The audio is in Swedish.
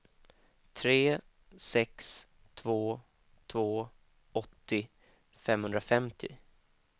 tre sex två två åttio femhundrafemtio